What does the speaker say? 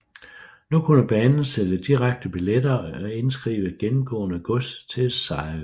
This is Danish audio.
Nu kunne banen sælge direkte billetter og indskrive gennemgående gods til Sejerø